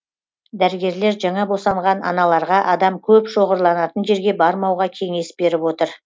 дәрігерлер жаңа босанған аналарға адам көп шоғырланатын жерге бармауға кеңес беріп отыр